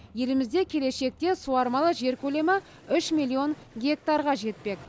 елімізде келешекте суармалы жер көлемі үш миллион гектарға жетпек